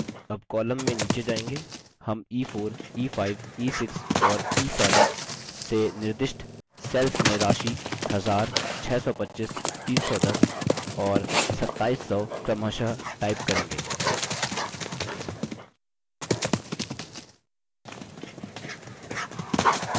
अब column में नीचे जाएँगे हम e4 e5 e6 और e7 से निर्दिष्ट सेल्स में राशि 1000 625 310 और 2700 क्रमशः type करेंगे